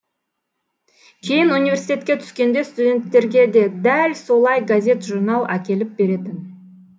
кейін университетке түскенде студенттерге де дәл солай газет журнал әкеліп беретін